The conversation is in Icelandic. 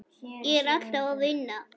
Ég er alltaf að vinna.